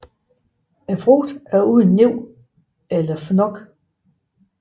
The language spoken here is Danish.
Frugten er uden næb eller fnok